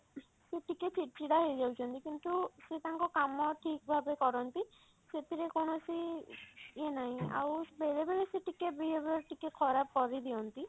ସେ ଟିକେ ଚିଡ ଚିଡା ହେଇଯାଉଛନ୍ତି କିନ୍ତୁ ସେ ତାଙ୍କ କାମ ଠିକ ଭାବେ କରନ୍ତି ସେଥିରେ କୌଣସି ଇଏ ନାହିଁ ଆଉ ବେଳେ ବେଳେ ସେ ଟିକେ behaviour ଟିକେ ଖରାପ କରିଦିଅନ୍ତି